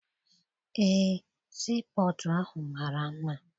Eé, sii pọtụ ahụ mara mma.